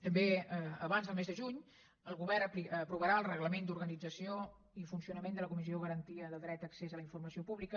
també abans del mes de juny el govern aprovarà el reglament d’organització i funcionament de la comissió de garantia del dret d’accés a la informació pública